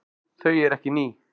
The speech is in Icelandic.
Þau eru ekki ný.